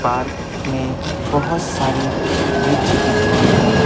Park में बहुत सारे वृक्ष दिख रहे हैं।